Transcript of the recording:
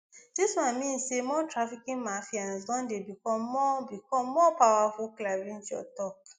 dis one mean say more trafficking mafians don dey become more become more powerful clarinjo tok